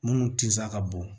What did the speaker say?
Minnu tinsaa ka bon